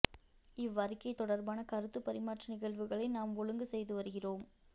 இவ் அறிக்கை தொடர்பான கருத்துப்பரிமாற்ற நிகழ்வுகளை நாம் ஒழுங்கு செய்து வருகிறோம்